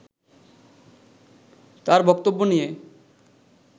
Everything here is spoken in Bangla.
তার বক্তব্য নিয়ে